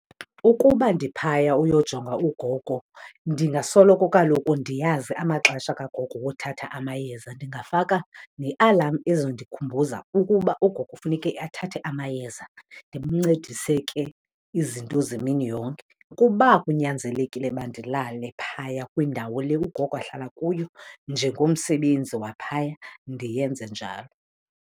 Ukuba ndiphaya uyojonga ugogo, ndingasoloko kaloku ndiyazi amaxesha kagogo wothatha amayeza. Ndingafaka ne-alarm ezondikhumbuza ukuba ugogo funeke athathe amayeza. Ndimncedise ke izinto zemini yonke. Kuba kunyanzelekile uba ndilale phaya kwindawo le ugogo ahlala kuyo njengomsebenzi waphaya, ndiyenze njalo.